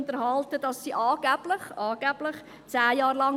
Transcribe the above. Werden Sie noch geschaffen?